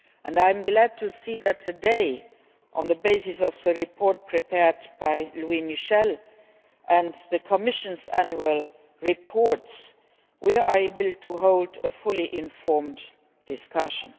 I am glad to see that today, on the basis of the report prepared by MrLouis Michel and the Commission's Annual Reports, we are able to hold a fully informed discussion.